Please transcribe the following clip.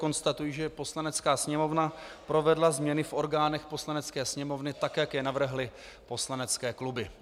Konstatuji, že Poslanecká sněmovna provedla změny v orgánech Poslanecké sněmovny, tak jak je navrhly poslanecké kluby.